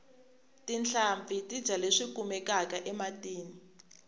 tinhlampfi ti dya leswi kumekaka ematini